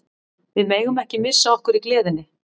Við megum ekki missa okkur í gleðinni.